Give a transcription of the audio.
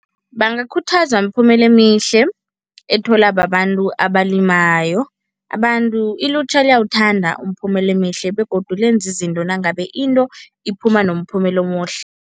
Bangakhuthazwa miphumela emihle etholwa babantu abalimayo. Abantu, ilutjha liyawuthanda umphumela emihle begodu lenza izinto nangabe into iphuma nomphumela omuhle.